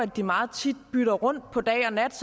de meget tit bytter rundt på dag og nat